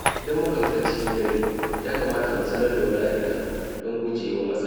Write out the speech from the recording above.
Idan muka fita cikin dare, ya kamata mu sanar da wani a gida don guje wa matsala.